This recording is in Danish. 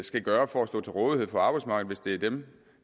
skal gøre for at stå til rådighed for arbejdsmarkedet hvis det er dem